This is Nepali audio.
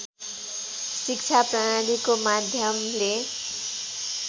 शिक्षा प्रणालीको माध्यमले